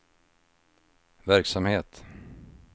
verksamhet